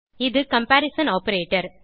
இது comparison operator